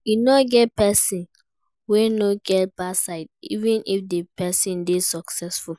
E no get person wey no get bad side, even if di person dey successful